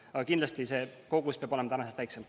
Aga kindlasti see kogus peab olema edaspidi väiksem.